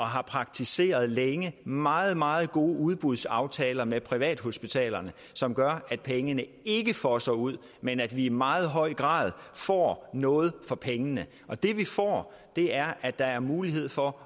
har praktiseret længe meget meget gode udbudsaftaler med privathospitalerne som gør at pengene ikke fosser ud men at vi i meget høj grad får noget for pengene og det vi får er at der er mulighed for